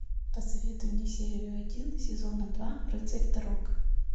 посоветуй мне серию один сезона два рыцарь дорог